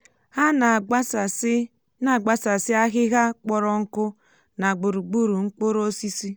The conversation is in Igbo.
ha na àgbásàsí na àgbásàsí ahịhịa kpọrọ nkụ nà gburugburu mkpụrụ osisi.